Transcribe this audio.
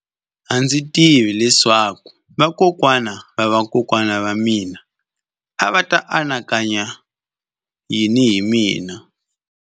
A ndzi tivi leswaku vakokwana-va-vakokwana va mina a va ta anakanya yini hi mina.